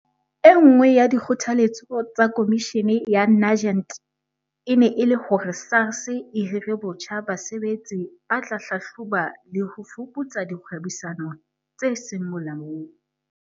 E nngwe ya dikgothaletso tsa Komishini ya Nugent e ne e le hore SARS e hire botjha basebetsi ba tla hlahloba le ho fuputsa dikgwebisano tse seng molaong.